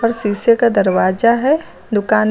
शीशे का दरवाजा है दुकान में।